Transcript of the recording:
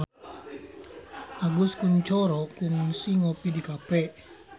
Agus Kuncoro kungsi ngopi di cafe